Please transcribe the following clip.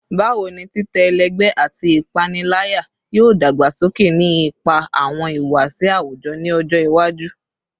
Bawo ni titẹ ẹlẹgbẹ ati ipanilaya yoo dagbasoke ni ipa awọn ihuwasi awujọ ni ọjọ iwaju?